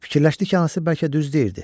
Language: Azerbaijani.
Fikirləşdi ki, anası bəlkə düz deyirdi.